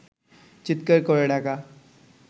চিৎকার করে ডাকা